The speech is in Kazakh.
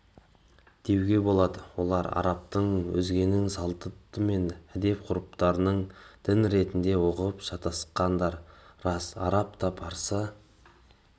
деуге болады олар арабтың өзгенің салты мен әдет-ғұрыптарындін ретінде ұғып шатасқандар рас араб та парсы